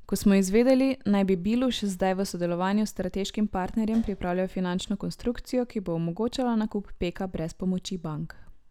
Kot smo izvedeli, naj bi Biluš zdaj v sodelovanju s strateškim partnerjem pripravljal finančno konstrukcijo, ki bo omogočala nakup Peka brez pomoči bank.